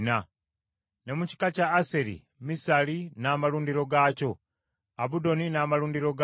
ne mu kika kya Aseri, Misali n’amalundiro gaakyo, Abudoni n’amalundiro gaakyo,